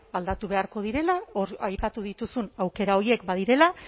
aldatu beharko direla hor aipatu dituzun aukera horiek badirela